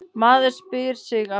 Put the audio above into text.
Maður spyr sig af hverju?